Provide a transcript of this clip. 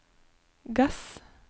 gass